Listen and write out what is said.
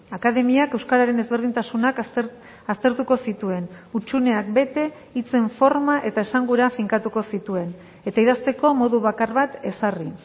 akademiak euskararen ezberdintasunak aztertuko zituen hutsuneak bete hitzen forma eta esangura finkatuko zituen eta idazteko modu bakar bat ezarri